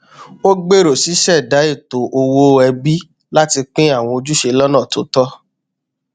ó gbèrò ṣíṣẹdá ètò owó ẹbí láti pín àwọn ojúṣe lọnà tó tọ